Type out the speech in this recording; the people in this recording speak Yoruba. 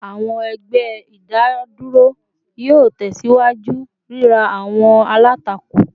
Awọn ẹgbẹ idaduro yoo tẹsiwaju rira awọn alatako